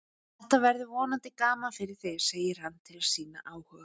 Þetta verður vonandi gaman fyrir þig, segir hann til að sýna áhuga.